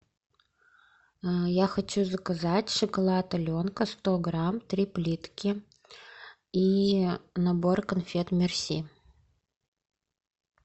я хочу заказать шоколад аленка сто грамм три плитки и набор конфет мерси